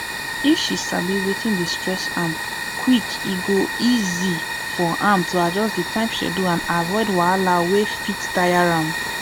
if she sabi wetin dey stress am quick e go easy for am to adjust time schedule and avoid wahala wey fit tire am